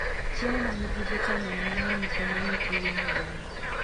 Chiemo ma nigi vitamin mang'eny konyo nyithii winy dongo.